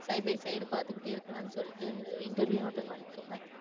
Side by side பாத்துக்கிட்டே இருக்கலாம்னு சொல்லிட்டு interview attend பண்ணிட்டு இருந்தேன்.